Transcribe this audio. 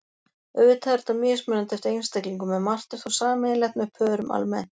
Auðvitað er þetta mismunandi eftir einstaklingum en margt er þó sameiginlegt með pörum almennt.